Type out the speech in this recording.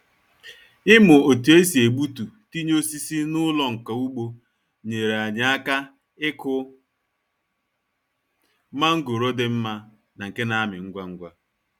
Ịmụ otu e si egbutu tinye osisi n'ụlọ nka ugbo nyere anyị aka ikụ mangoro dị mma na nke na-amị ngwa ngwa.